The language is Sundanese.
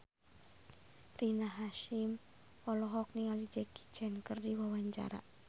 Rina Hasyim olohok ningali Jackie Chan keur diwawancara